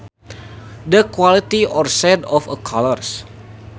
The quality or shade of a colour